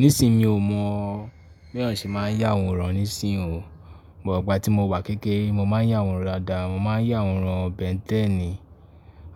Nísìí mi ò mọ̀ bí àwọn ṣe máa ń ya àwòrán nísìí o. Ìgbà tí mo wà kékère, mo máa ń ya àwòrán daada, mo máa ń ya àwòrán Ben 10